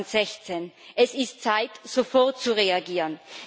2016. Es ist an der Zeit, sofort zu reagieren.